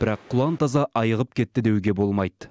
бірақ құлан таза айығып кетті деуге болмайды